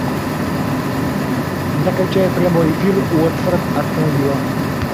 закачай прямой эфир уотфорд астон вилла